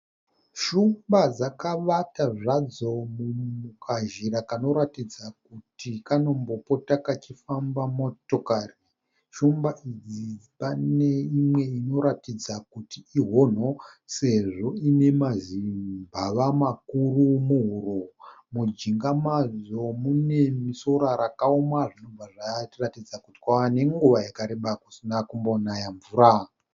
Shumba dzakavata zvadzo mukazhira kanoratidza kuti kanombopota kachifamba motokari. Shumba idzi pane imwe inoratidza kuti ihono sezvo ine mazimbava makuru muhuro. Mujinga madzo mune sora rakaoma zvichibva zvatiratidza kuti kwava nenguva yakareba kusina kumbonaya mvura.